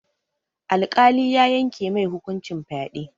Alƙali ya yanke mai hukuncin fyaɗe.